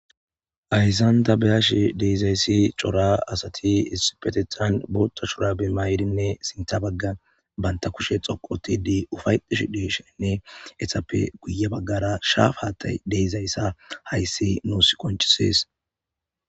ayssanta beyash deizayssi cora asati isipetethan bootta shura bemayirinne sinta bagga banta kushe xoqotidi ufaydush deeshenne esappe guye baggara shaaf haattay deizayssa hayssi nuus qoncisees